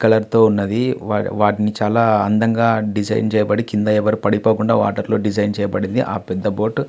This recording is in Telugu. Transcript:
కలర్ తో ఉన్నవి. వా వాటిని చాలా అందంగా డిజైన్ చేయబడి కింద ఎవరు పడిపోకుండా వాటర్ లో డిజైన్ చేయబడినది ఆ పెద్ద బోటు .